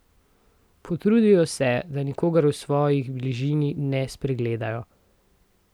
Potrudijo se, da nikogar v svoji bližini ne spregledajo.